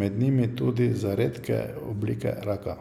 med njimi tudi za redke oblike raka.